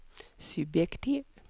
subjektiv